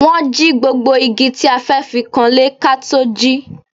Wọ́n jí gbogbo igi tí a fẹ́ fi kanlé ká tó jí